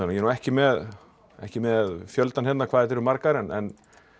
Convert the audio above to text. ég er nú ekki með ekki með fjöldann hérna hvað þær eru margar en